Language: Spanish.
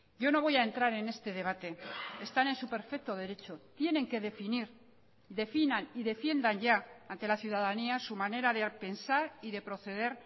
yo no voy a entrar en este debate están en su perfecto derecho tienen que definir definan y defiendan ya ante la ciudadanía su manera de pensar y de proceder